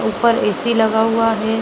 ऊपर ए.सी लगा हुआ है।